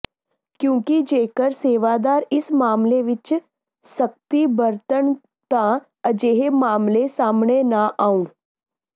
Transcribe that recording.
ਕਿਉਂਕਿ ਜੇਕਰ ਸੇਵਾਦਾਰ ਇਸ ਮਾਮਲੇ ਵਿਚ ਸਖ਼ਤੀ ਵਰਤਣ ਤਾਂ ਅਜਿਹੇ ਮਾਮਲੇ ਸਾਹਮਣੇ ਨਾ ਆਉਣ